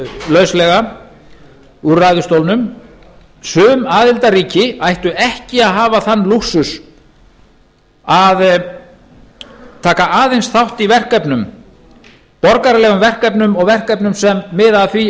lauslega úr ræðustólnum sum aðildarríki ættu ekki að hafa þann lúxus að taka aðeins þátt í verkefnum borgaralegum verkefnum og verkefnum sem miða að því